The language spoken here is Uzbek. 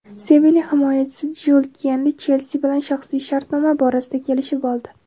"Sevilya" himoyachisi Jyul Kunde "Chelsi" bilan shaxsiy shartnoma borasida kelishib oldi.